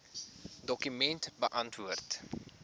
dokument beantwoord